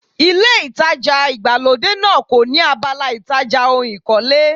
Ilé ìtajà ìgbàlódé náà kò ní abala ìtajà ohun ìkọ́lé.